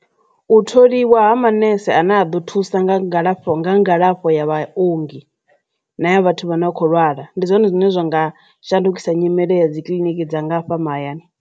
U tholiwa ha maṋese a ne a ḓo thusa nga ngalafho nga ngalafho ya vhaongi na ya vhathu vha no kho lwala ndi zwone zwine zwa nga shandukisa nyimele ya dzi kiḽiniki dza nga hafha mahayani.